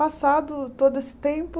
Passado todo esse tempo,